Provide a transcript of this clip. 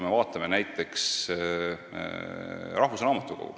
Vaatame näiteks rahvusraamatukogu.